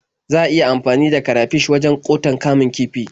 Za a iya amfani da karafish wajen ƙoton kamun kifi.